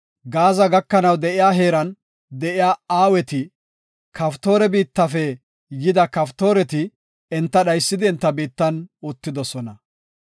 Gaaza gakanaw de7iya heeran de7iya Aweeti, Kaftoore biittafe yida Kaftooreti enta dhaysidi enta biittan uttidosona.]